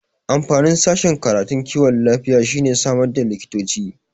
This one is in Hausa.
Amfanin sashen karatun kiwon lafiya shine samar da likitoci